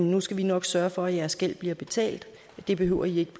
nu skal vi nok sørge for at jeres gæld bliver betalt det behøver i ikke